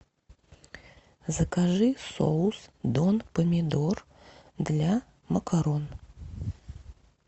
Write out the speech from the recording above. закажи соус дон помидор для макарон